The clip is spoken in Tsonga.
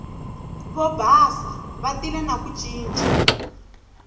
vobasa va tile na ku ncinca